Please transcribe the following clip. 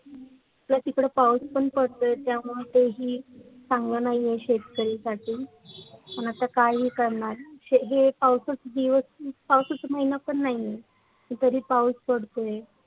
पर तिकडे पाऊस पण पडतोय त्यामुळं ते ही चांगलं नाहीं आहे शेतकरी साठी पण आता काय ही करणार हे पाऊसाचे दिवस पाऊसाचे महिना पण नाहींये पण तरी पाऊस पडतोय.